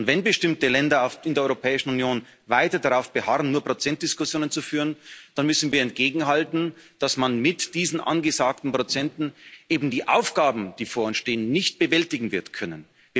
Und wenn bestimmte Länder in der Europäischen Union weiter darauf beharren, nur Prozentdiskussionen zu führen, dann müssen wir entgegenhalten, dass man mit diesen angesagten Prozenten eben die Aufgaben, die vor uns stehen, nicht bewältigen wird können.